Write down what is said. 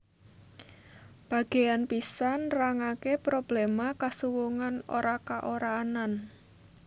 Bagéan pisan nrangaké probléma kasuwungan ora ka ora anan